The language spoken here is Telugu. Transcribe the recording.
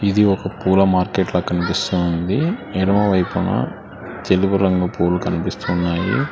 ఇది ఒక పూల మార్కెట్ల కనిపిస్తా ఉంది ఎడమ వైపున తెలుగు రంగు పూలు కనిపిస్తున్నాయి.